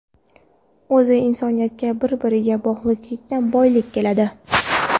O‘zi insoniyatga bir-biriga bog‘liqlikdan boylik keladi.